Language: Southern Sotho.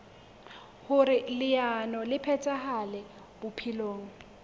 hoer leano le phethahale bophelong